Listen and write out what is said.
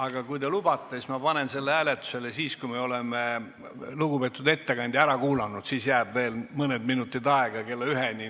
Aga kui te lubate, panen ma selle hääletusele siis, kui me oleme lugupeetud ettekandja ära kuulanud, siis jääb veel mõni minut kella üheni aega.